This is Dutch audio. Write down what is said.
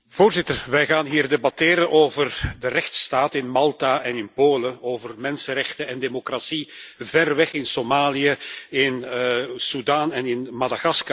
Wij gaan hier debatteren over de rechtsstaat in Malta en in Polen, over mensenrechten en democratie ver weg in Somalië, in Soedan en in Madagaskar.